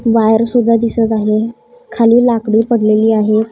Wire सुद्धा दिसत आहे खाली लाकडे पडलेली आहे.